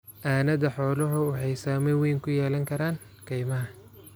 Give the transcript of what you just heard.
aanada xooluhu waxaay saamayn weyn ku yelan karaan kaymaha.